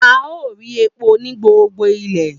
A o ri epo ni gbogbo ile.